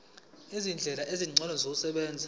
izindlela ezingcono zokusebenza